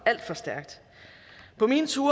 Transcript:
alt for stærkt på mine ture